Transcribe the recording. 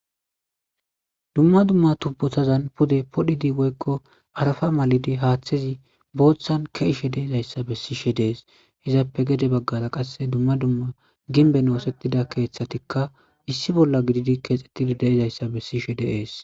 Dumma dumma tubbotanni pudde podhdhidi pudde haaththezi booththan ke'ishe dizayssa besishe dees izappe gedde baggara qase dumma dumma gimbben oosettida keeththtikka issi bolla gididi keexxetidi de'izayssa besishe dees